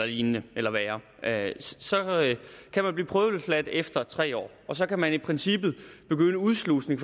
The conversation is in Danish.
lignende eller værre så kan man blive prøveløsladt efter tre år og så kan man i princippet begynde udslusning